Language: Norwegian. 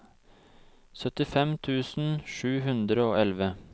syttifem tusen sju hundre og elleve